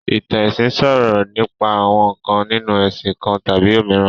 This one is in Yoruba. Ìtàn ẹ̀sìn sọ̀rọ̀ nípa àwọn ǹkan nínu ẹ̀sìn kan tàbí òmíràn